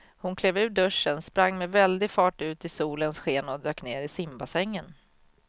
Hon klev ur duschen, sprang med väldig fart ut i solens sken och dök ner i simbassängen.